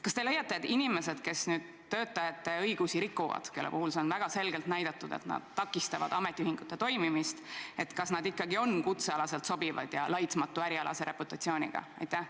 Kas te leiate, et inimesed, kes töötajate õigusi rikuvad, kelle puhul on väga selgelt näidatud, et nad takistavad ametiühingute toimimist, ikka on kutsealaselt sobivad ja laitmatu ärialase reputatsiooniga?